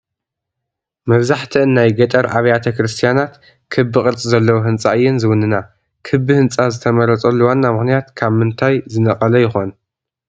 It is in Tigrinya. መብዛሕትአን ናይ ገጠር ኣብያተ ክርስቲያናት ክቢ ቅርፂ ዘለዎ ህንፃ እየን ዝውንና፡፡ ክቢ ህንፃ ዝተመረፀሉ ዋና ምኽንያት ካብ ምንታይ ዝነቐለ ይኾን?